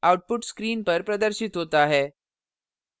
output screen पर प्रदर्शित होता है